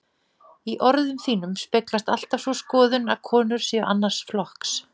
Í orðum þínum speglast alltaf sú skoðun, að konur séu annars flokks.